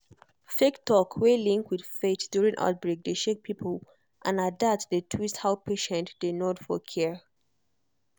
fake talk wey link with faith during outbreak dey shake people and na that dey twist how patient dey nod for care.